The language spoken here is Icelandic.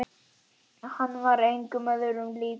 Hann var engum öðrum líkur.